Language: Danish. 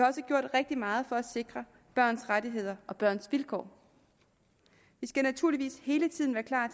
også gjort rigtig meget for at sikre børns rettigheder og børns vilkår vi skal naturligvis hele tiden være klar